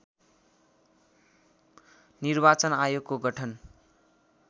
निर्वाचन आयोगको गठन